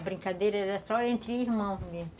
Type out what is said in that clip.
A brincadeira era só entre irmãos mesmo.